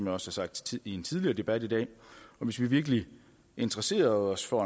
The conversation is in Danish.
har sagt i en tidligere debat i dag hvis vi virkelig interesserede os for